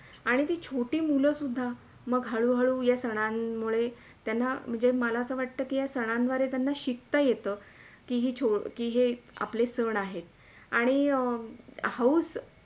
आणि ती छोटी मुला सुद्धा मंग हळू - हळू या सणांमुळे त्यांना मला असा वाटते के या सनांद्वारे त्यांना शिकता येते कि ही छो कि ही आपले सण आहे. आणि हौस